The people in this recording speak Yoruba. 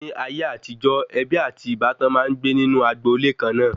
Ni ayé àtijó, ebi ati ìbátan maa n gbe inu agbo-ile kàn na